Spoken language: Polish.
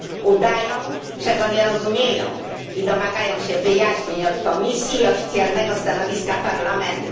Udają, że go nie rozumieją i domagają się wyjaśnień od Komisji i oficjalnego stanowiska Parlamentu.